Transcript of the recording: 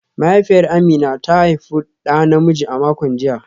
Mahaifiyar Amina ta haifi da namiji a makon jiya